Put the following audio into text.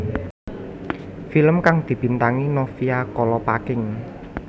Film kang dibintangi Novia Kolopaking